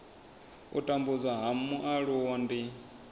u tambudzwa ha mualuwa ndi